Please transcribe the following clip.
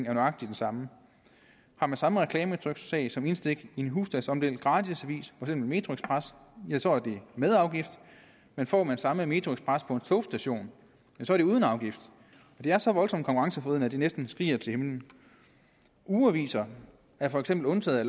er nøjagtig den samme har man samme reklametryksag som indstik i en husstandsomdelt gratisavis for eksempel metroxpress ja så er det med afgift men får man samme metroxpress på en togstation så er det uden afgift det er så voldsomt konkurrenceforvridende at det næsten skriger til himlen ugeaviser er for eksempel undtaget